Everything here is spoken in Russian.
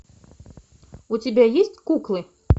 у тебя есть куклы